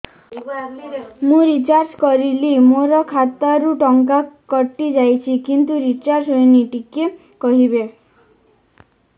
ମୁ ରିଚାର୍ଜ କରିଲି ମୋର ଖାତା ରୁ ଟଙ୍କା କଟି ଯାଇଛି କିନ୍ତୁ ରିଚାର୍ଜ ହେଇନି ଟିକେ କହିବେ